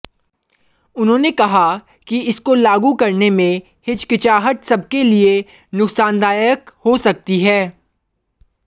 उन्होंने कहा कि इसको लागू करने में हिचकिचाहट सबके लिए नुकसानदायक हो सकती है